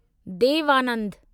देव आनंदु